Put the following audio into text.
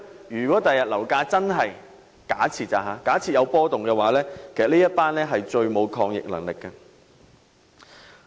如果日後樓市出現波動，他們將是最沒有抗逆能力的一群。